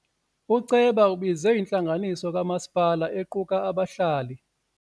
Uceba ubize intlanganiso kamasipala equka abahlali.